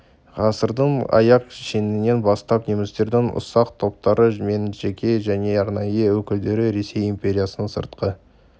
ғасырдың аяқ шенінен бастап немістердің ұсақ топтары мен жеке және арнайы өкілдері ресей империясының сыртқы